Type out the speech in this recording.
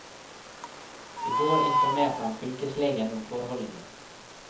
I går informerte han fylkeslegen om forholdene.